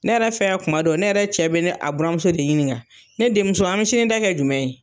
Ne yɛrɛ fɛn yan kuma dɔ, ne yɛrɛ cɛ be a buranmuso de ɲini ka, ne denmuso an mi sini ta kɛ jumɛn ye ?